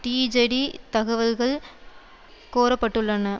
டீஜடிதகவல்கள் கோரப்பட்டுள்ளன